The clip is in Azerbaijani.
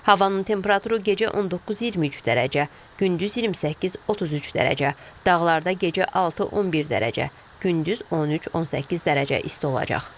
Havanın temperaturu gecə 19-23 dərəcə, gündüz 28-33 dərəcə, dağlarda gecə 6-11 dərəcə, gündüz 13-18 dərəcə isti olacaq.